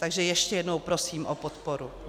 Takže ještě jednou prosím o podporu.